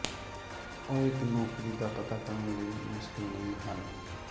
ਉਹ ਇੱਕ ਨੌਕਰੀ ਦਾ ਪਤਾ ਕਰਨ ਲਈ ਮੁਸ਼ਕਲ ਨਹੀ ਹਨ